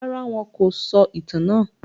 Rárá, wọn kò sọ ìtàn náà.